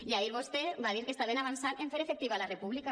i ahir vostè va dir que estaven avançant en fer efectiva la república